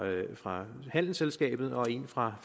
fra handelsselskabet og en fra